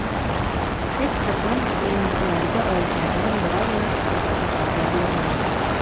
Hech qachon o‘yinchilarga oldindan biror narsa uchun va’da bermaymiz.